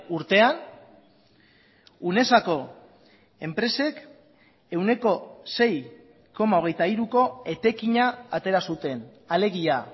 urtean unesako enpresek ehuneko sei koma hogeita hiruko etekina atera zuten alegia